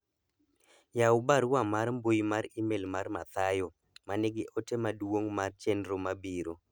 yawu barua mar mbui mar email mar mathayo manigi ote maduong' mar chenro mabiro